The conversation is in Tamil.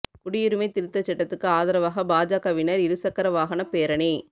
குடியுரிமை திருத்தச் சட்டத்துக்கு ஆதரவாக பாஜகவினா் இரு சக்கர வாகனப் பேரணி